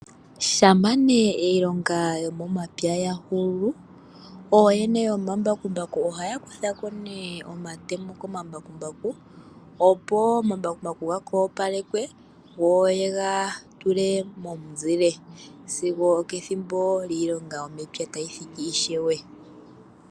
Shampa nee iilonga yomomapya ya hulu, ooyene yomambakumbaku ohaya kutha ko nee omatemo komambakumbaku, opo omambakumbaku gaka opalekwe, go ye ga tule momuzile, zigo okethimbo lyiilonga yomepya tayi thiki ishewe.